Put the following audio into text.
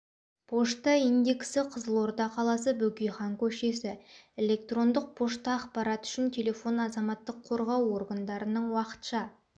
пошта индексі қызылорда қаласы бөкейхан көшесі электрондық пошта ақпарат үшін телефон азаматтық қорғау органдарының уақытша